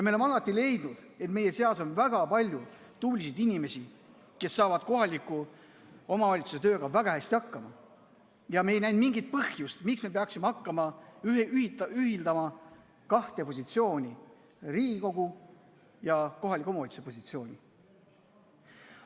Me oleme alati leidnud, et meie seas on väga palju tublisid inimesi, kes saavad kohaliku omavalitsuse tööga väga hästi hakkama, ja me ei näe mingit põhjust, miks me peaksime hakkama ühildama kahte positsiooni, Riigikogu ja kohaliku omavalitsuse positsiooni.